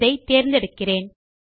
இதை தேர்ந்தெடுக்கிறேன்